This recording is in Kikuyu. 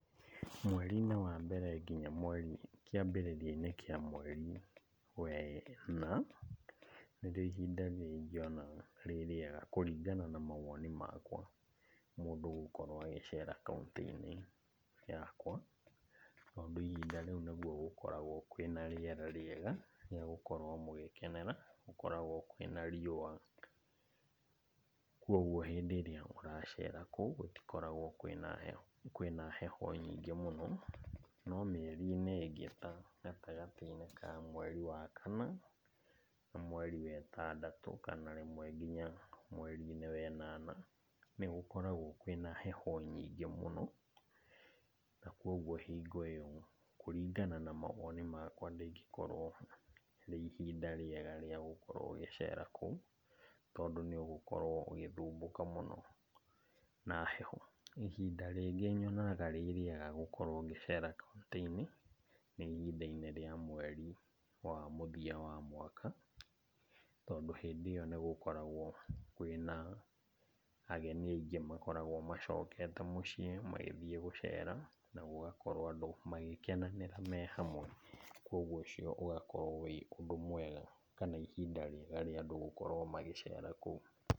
Mwerinĩ wa mbere nginya mweri, kĩambĩrĩria-inĩ kĩa mweri wena, nĩrĩo ihinda rĩrĩa ingĩona rĩ rĩega kũringana na mawoni makwa, mũndũ gũkorwo agĩcera kauntĩ-inĩ yakwa. Tondũ ihinda rĩũ nĩguo gũkoragwo kwĩ na rĩera rĩega, rĩa gũkorwo mũgĩkenera, gũkoragwo kwĩ na riũa. Koguo hĩndĩ ĩrĩa ũracera kũu gũtikoragwo kwĩ na heho, kwĩ na heho nyingĩ mũno. No mĩerinĩ ĩngĩ ta gatagatĩ-inĩ ka mweri wa kana, na mweri wetandatũ, kana rĩmwe nginya mwerinĩ we nana, nĩgũkoragwo kwĩ na heho nyingĩ mũno. Nakoguo hingo ĩo kũringana na mawoni makwa ndĩngĩkorwo ĩrĩ ihinda rĩega rĩa gũkorwo ũgĩcera kũu. Tondũ nĩũgũkorwo ũgĩthumbũka mũno na heho. Ihinda rĩngĩ nyonaga rĩ rĩega gũkorwo ngĩchera kauntĩ-inĩ, nĩ ihinda-inĩ rĩa mweri wa mũthia wa mwaka. Tondũ hĩndĩ ĩo nĩgũkoragwo kwĩ na ageni aingĩ makoragwo macokete mũciĩ magĩthiĩ gũcera, na gũgakorwo andũ magĩkenanĩra me hamwe. Koguo ũcio ũgakorwo wĩ ũndũ mwega, kana ihinda rĩega rĩa andũ gũkorwo magĩcera kũndũ kũu.